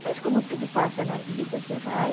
Mas como tudo passa na vida, você vai.